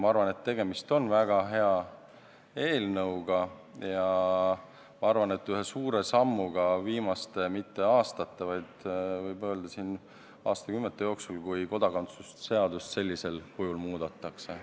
Ma arvan, et tegemist on väga hea eelnõuga, ja ma arvan, et ühe suure sammuga viimaste, isegi mitte aastate, vaid võib öelda, et aastakümnete jooksul, kui kodakondsuse seadust sellisel kujul muudetakse.